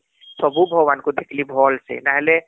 ସବୁ ଭଗବାନ ଙ୍କୁ ଦେଖିଲି ଭଲ ସେ ନହେଲେ